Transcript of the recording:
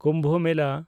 ᱠᱩᱢᱵᱷ ᱢᱮᱞᱟ